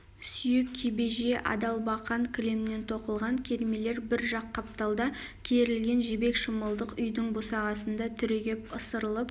сүйек кебеже адалбақан кілемнен тоқылған кермелер бір жақ қапталда керілген жібек шымылдық үйдің босағасында түрегеп ысырылып